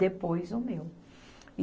Depois o meu.